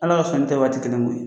Ala ka sɔnni tɛ waati kelen ye koyi